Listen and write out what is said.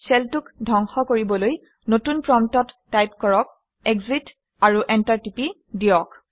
shell 2 ক ধ্বংস কৰিবলৈ নতুন প্ৰম্পটত টাইপ কৰক - এক্সিট আৰু এণ্টাৰ টিপি দিয়ক